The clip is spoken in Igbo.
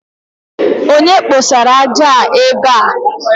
Onye kposara ájá ébé a